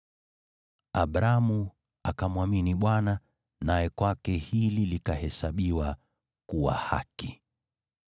Abramu akamwamini Bwana , naye kwake hili likahesabiwa kuwa haki.